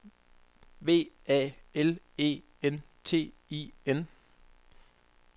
V A L E N T I N